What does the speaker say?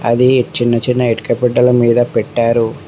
అది చిన్న చిన్న ఇటుక బిడ్డల మీద పెట్టారు.